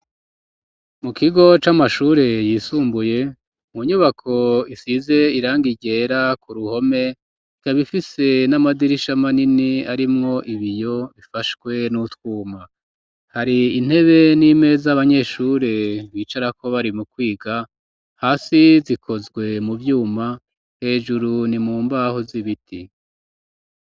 Mu kigo c'amashure yisumbuye, mu nyubako isize iranga ryera, ku ruhome ikaba ifise n'amadirisha manini arimwo ibiyo ,bifashwe n'utwuma, hari intebe n'imeza abanyeshure bicara ko ,bari mu kwiga, hasi zikozwe mu vyuma, hejuru ni mu mbaho z'ibiti.